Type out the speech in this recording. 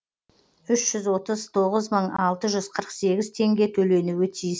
үш жүз отыз тоғыз мың алты жүз қырық сегіз теңге төленуі тиіс